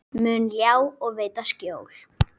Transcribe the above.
mun ljá og veita skjól.